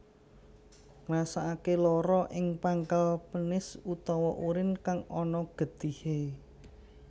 Ngrasake lara ing pangkal penis utawa urin kang ana getihe